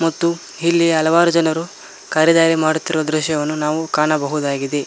ಮತ್ತು ಇಲ್ಲಿ ಹಲವಾರು ಜನರು ಖರಿದಾಯ ಮಾಡುತ್ತಿರುವ ದೃಶ್ಯವನ್ನು ನಾವು ಕಾಣಬಹುದಾಗಿದೆ.